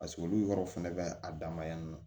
Paseke olu yɔrɔ fɛnɛ bɛ a dan ma yan nɔ